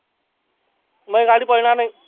माही गाडी पळनार नाही.